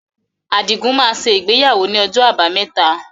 Adigun máa ṣe ìgbéyàwó ni ọjọ́ abámẹ́ta